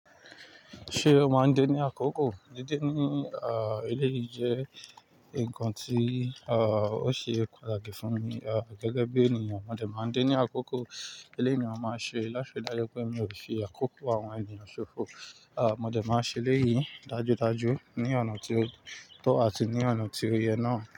Ṣé o máa ń de ní àkókò? Dídé ní eléyìí jẹ́ nǹkan tí ó ṣe pataki fún mi. Ah, gẹ́gẹ́ bí ènìyàn, mo dẹ̀ máa ń dín ní àkókò. Eléyìí ni mo máa ń ṣe láṣẹ dájú pé mi ò fi àkókò àwọn ènìyàn ṣòfò. Mo dẹ̀ máa ṣe eleyíi dájúdájú ní ọ̀nà tió tọ́ àti ní ọ̀nà tí òye náà.